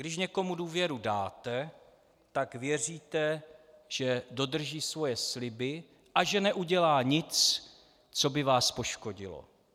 Když někomu důvěru dáte, tak věříte, že dodrží svoje sliby a že neudělá nic, co by vás poškodilo.